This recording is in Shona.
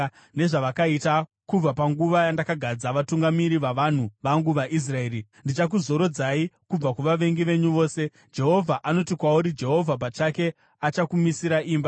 nezvavakaita kubva panguva yandakagadza vatungamiri vavanhu vangu vaIsraeri. Ndichakuzorodzai kubva kuvavengi venyu vose. “ ‘Jehovha anoti kwauri Jehovha pachake achakumisira imba: